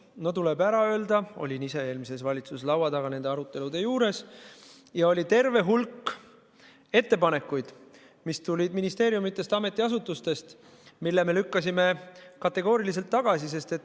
No tuleb öelda, et ma olin ise eelmises valitsuses laua taga nende arutelude juures ja oli terve hulk ettepanekuid, mis tulid ministeeriumidest ja muudest ametiasutustest ja mille me lükkasime kategooriliselt tagasi.